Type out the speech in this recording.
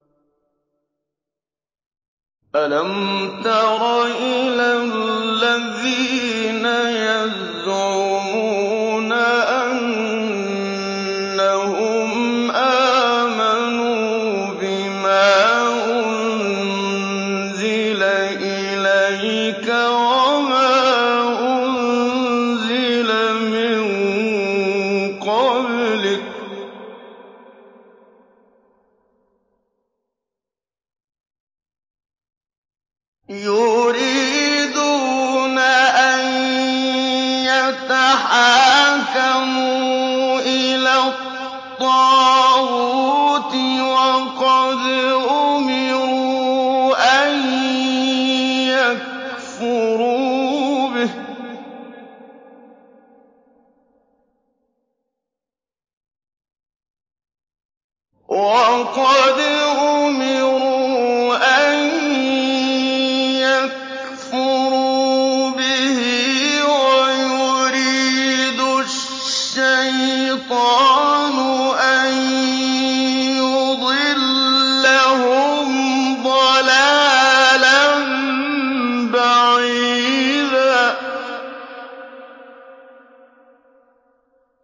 أَلَمْ تَرَ إِلَى الَّذِينَ يَزْعُمُونَ أَنَّهُمْ آمَنُوا بِمَا أُنزِلَ إِلَيْكَ وَمَا أُنزِلَ مِن قَبْلِكَ يُرِيدُونَ أَن يَتَحَاكَمُوا إِلَى الطَّاغُوتِ وَقَدْ أُمِرُوا أَن يَكْفُرُوا بِهِ وَيُرِيدُ الشَّيْطَانُ أَن يُضِلَّهُمْ ضَلَالًا بَعِيدًا